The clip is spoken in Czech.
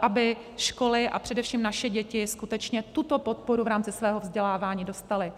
aby školy a především naše děti skutečně tuto podporu v rámci svého vzdělávání dostaly.